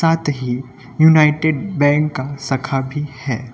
United bank का शाखा भी है।